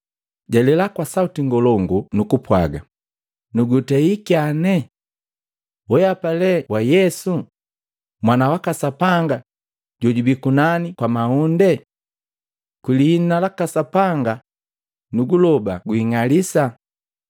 jalela kwa sauti ngolongu nukupwaga, “Nanugutei kyane! Weapa le wa Yesu, Mwana waka Sapanga jojubii kunani kwa mahunde? Kwi liina la Sapanga, nuguloba gwing'alisa!”